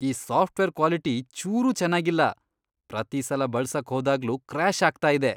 ಈ software quality ಚೂರೂ ಚೆನಾಗಿಲ್ಲ, ಪ್ರತೀ ಸಲ ಬಳ್ಸಕ್ ಹೋದಾಗ್ಲೂ ಕ್ರ್ಯಾಷ್ ಆಗ್ತಾ ಇದೆ.